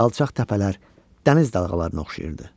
Alçaq təpələr dəniz dalğalarına oxşayırdı.